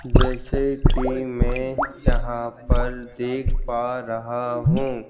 जैसे कि मैं यहां पर देख पा रहा हूं।